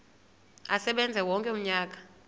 asebenze wonke umnyaka